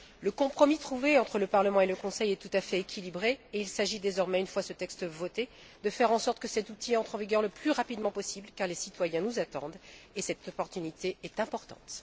Le compromis trouvé entre le Parlement et le Conseil est tout à fait équilibré et il s'agit désormais, une fois ce texte voté, de faire en sorte que cet outil entre en vigueur le plus rapidement possible, car les citoyens nous attendent et cette opportunité est importante.